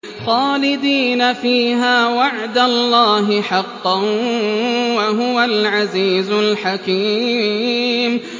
خَالِدِينَ فِيهَا ۖ وَعْدَ اللَّهِ حَقًّا ۚ وَهُوَ الْعَزِيزُ الْحَكِيمُ